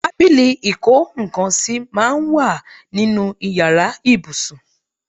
Tábìlì ìkó nńkan sì máa ń wà nínú ìyára ibùsùn.